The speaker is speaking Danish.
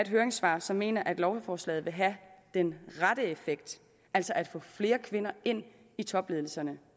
høringssvar som mener at lovforslaget vil have den rette effekt altså at få flere kvinder ind i topledelserne